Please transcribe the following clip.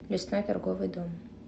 лесной торговый дом